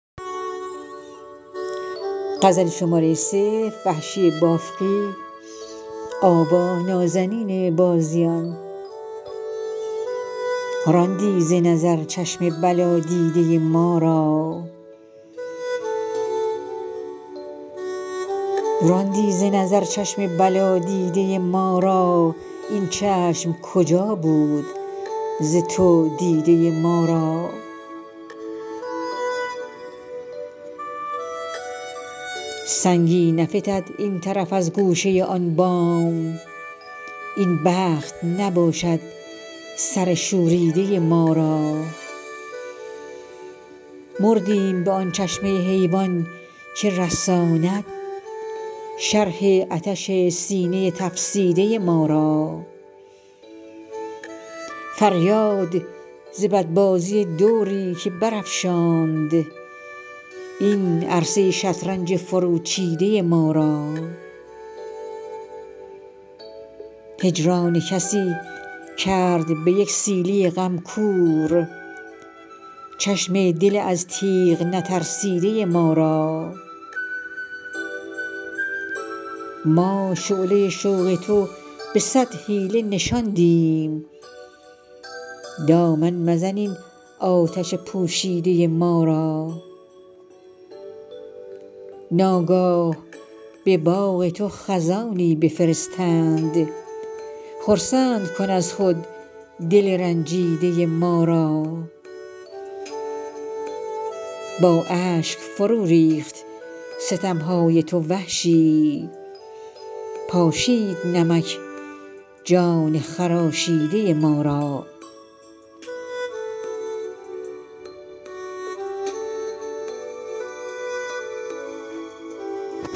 راندی ز نظر چشم بلا دیده ما را این چشم کجا بود ز تو دیده ما را سنگی نفتد این طرف از گوشه آن بام این بخت نباشد سر شوریده ما را مردیم به آن چشمه حیوان که رساند شرح عطش سینه تفسیده ما را فریاد ز بد بازی دوری که برافشاند این عرصه شطرنج فرو چیده ما را هجران کسی کرد به یک سیلی غم کور چشم دل از تیغ نترسیده ما را ما شعله شوق تو به صد حیله نشاندیم دامن مزن این آتش پوشیده ما را ناگاه به باغ تو خزانی بفرستند خرسند کن از خود دل رنجیده ما را با اشک فرو ریخت ستمهای تو وحشی پاشید نمک جان خراشیده ما را